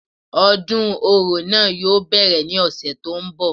Odún orò náà yóò bẹ́rẹ̀ ní ọ̀sẹ̀ tó ń bọ̀